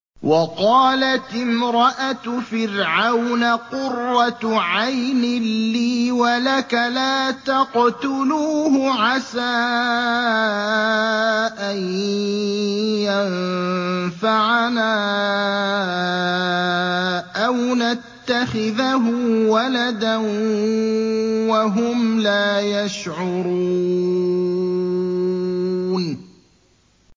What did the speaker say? وَقَالَتِ امْرَأَتُ فِرْعَوْنَ قُرَّتُ عَيْنٍ لِّي وَلَكَ ۖ لَا تَقْتُلُوهُ عَسَىٰ أَن يَنفَعَنَا أَوْ نَتَّخِذَهُ وَلَدًا وَهُمْ لَا يَشْعُرُونَ